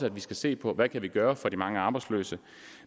at vi skal se på hvad vi kan gøre for de mange arbejdsløse